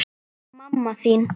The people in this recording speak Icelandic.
Mamma þín